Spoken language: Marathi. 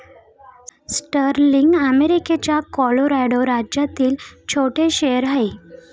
स्टर्लिंग अमेरिकेच्या कोलोरॅडो राज्यातील छोटे शहर आहे.